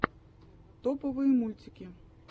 топовые мультики